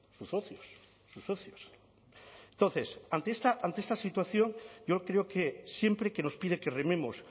sus socios sus socios entonces ante esta situación yo creo que siempre que nos pide que rememos